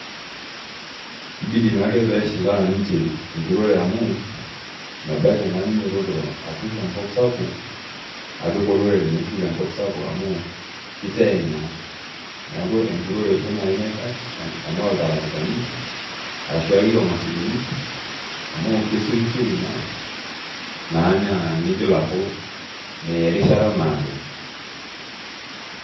Kibidi naa ake peeshilaa ninche enturore amu ebaiki naa ninyiototo, atur enkop sapuk. apik olorere metuturo enkop sapuk. amu kiteeng naa, neeku enturore duoo naji naikash anaa, iltarakitani arashu esiai oomashinini. ami kesiokisioki naa nigil aaku meya erishata naado.